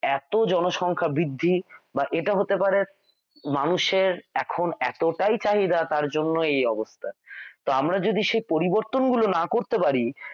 এত জনসংখ্যা বৃদ্ধি but এটা হতে পারে মানুষের এখন এতটাই চাহিদা তার জন্য এই অবস্থা তো আমরা যদি সে পরিবর্তন না করতে পারি